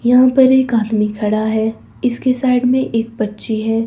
यहाँ पर एक आदमी खड़ा है इसके साइड में एक बच्ची है।